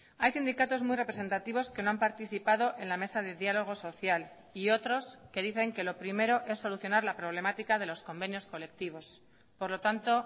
hay sindicatos muy representativos que no han participado en la mesa de diálogo social y otros que dicen que lo primero es solucionar la problemática de los convenios colectivos por lo tanto